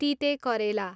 तितेकरेला